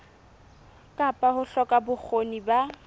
kapa ho hloka bokgoni ba